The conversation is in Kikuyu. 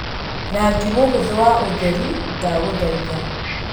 Rangi mũhũthũ wa ũtheri, ndagũthaitha.